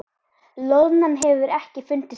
Loðnan hefur ekki fundist ennþá